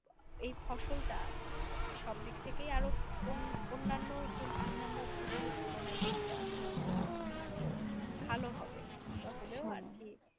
এই ফসলটা সব দিক থেকেই আরও অন অন্যান্য ফসলের তুলনায় কিছুটা হলেও আরো ভালো হবে কিছুটা হলেও আর কি